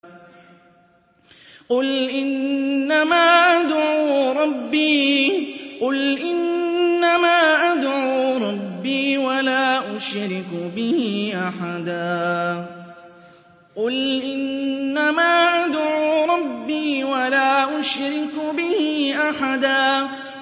قُلْ إِنَّمَا أَدْعُو رَبِّي وَلَا أُشْرِكُ بِهِ أَحَدًا